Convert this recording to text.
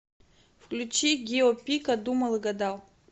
включи гио пика думал и гадал